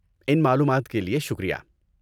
ان معلومات کے لیے شکریہ۔